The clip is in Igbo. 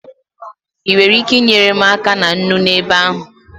Ị nwere ike inyere m aka na nnu n'ebe ahụ?